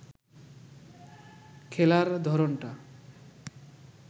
খেলার ধরনটা